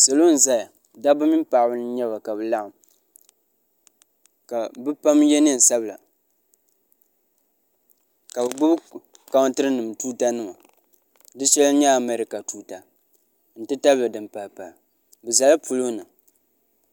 salo n ʒɛya dabba mini paɣaba n nyɛba ka bi laɣam ka bi pam yɛ neen sabila ka bi gbubi kountiri nim tuuta nima di shɛli n nyɛ amɛrika tuuta n tabili din pahi pahi bi ʒɛla polo ni